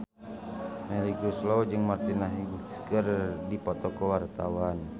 Melly Goeslaw jeung Martina Hingis keur dipoto ku wartawan